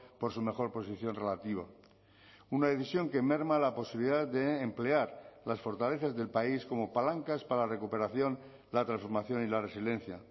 por su mejor posición relativa una decisión que merma la posibilidad de emplear las fortalezas del país como palancas para la recuperación la transformación y la resiliencia